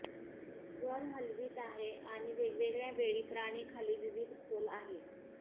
वर हलवीत आहे आणि वेगवेगळ्या वेळी प्राणी खाली विविध खोल आहे